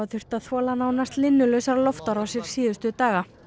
þurft að þola nánast linnulausar loftárásir síðustu daga